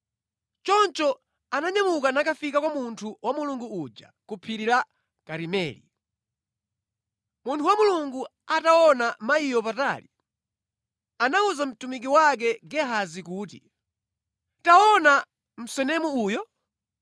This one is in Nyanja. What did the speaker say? Choncho ananyamuka nakafika kwa munthu wa Mulungu uja ku Phiri la Karimeli. Munthu wa Mulungu ataona mayiyo patali, anawuza mtumiki wake Gehazi kuti, “Taona! Msunemu uyo!